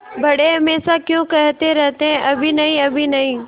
बड़े हमेशा क्यों कहते रहते हैं अभी नहीं अभी नहीं